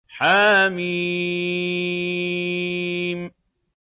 حم